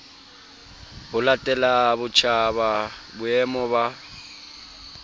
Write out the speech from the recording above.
ho latela botjhaba boemo ba